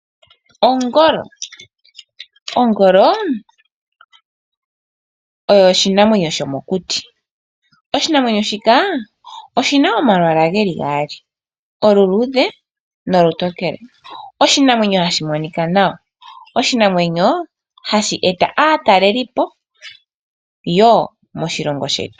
Ongolo Ongolo oyo oshinamwenyo shomokuti. Oshinamwenyo shika oshi na omalwaala ge li gaali, oluluudhe nolutokele. Oshinamwenyo hashi monika nawa. Oshinamwenyo hashi eta aatalelipo woo moshilongo shetu.